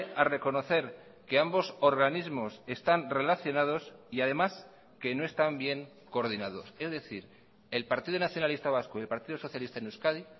a reconocer que ambos organismos están relacionados y además que no están bien coordinados es decir el partido nacionalista vasco y el partido socialista en euskadi